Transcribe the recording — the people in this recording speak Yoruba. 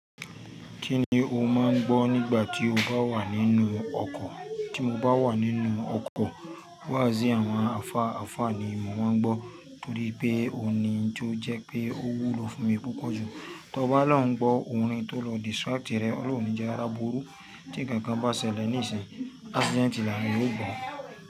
Kí ni o máa ń gbọ́ nígbà tí o bá wà nínú ọkọ̀? Tí mo bá wà nínú ọkọ̀, wáàsí àwọn àlfa alfa ni mo máa ń gbọ́ torí pé òun ni tó jẹ́ pé ó wúlò fún mi púpọ̀ jù. Tọba lóń gbọ́ orin tó lọ distract rẹ̀, ọlọ́run ò ní jẹ arí á burú tí ǹkankan bá ṣẹlẹ̀ ní ìsìn. Accident làwon èèyàn óò gbọ́.